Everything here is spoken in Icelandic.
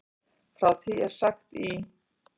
Frá því er sagt í